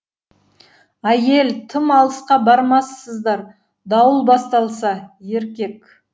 ә й е л тым алысқа бармассыздар дауыл басталса е р к е к